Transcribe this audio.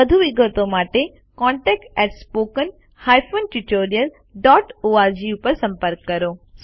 વધુ વિગતો માટે contactspoken tutorialorg પર સંપર્ક કરો